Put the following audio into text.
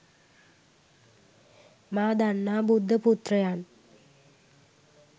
මා දන්නා බුද්ධ පුත්‍රයන්